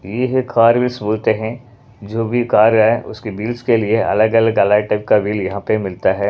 ये है कार -विस बोलते हैं जो भी कार है उसकी बिल्स के लिए अलग-अलग अलग टाइप का बिल यहाँ पे मिलता है।